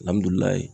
Alihamudulila